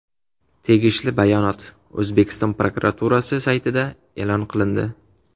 Tegishli bayonot O‘zbekiston prokuraturasi saytida e’lon qilindi .